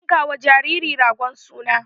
Ana yankawa jariri ragon suna.